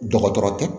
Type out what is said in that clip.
Dɔgɔtɔrɔ tɛ